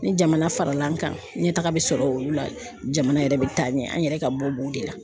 Ni jamana farala an kan, ɲɛ taga be sɔrɔ olu la, jamana yɛrɛ be taa ɲɛ an yɛrɛ ka bɔ bo de la.